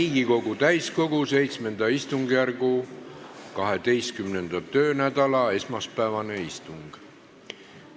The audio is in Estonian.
Riigikogu täiskogu VII istungjärgu 12. töönädala esmaspäevane istung.